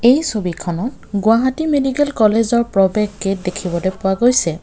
এই ছবিখনত গুৱাহাটী মেডিকেল কলেজৰ প্ৰৱেশ গেট দেখিবলৈ পোৱা গৈছে।